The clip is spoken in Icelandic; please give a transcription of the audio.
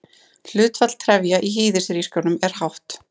Hlutfall trefja í hýðishrísgrjónum er hátt.